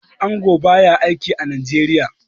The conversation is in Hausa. Angon ba ya aiki a Nigeria.